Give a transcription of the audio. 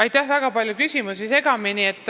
Siin oli väga palju küsimusi segamini.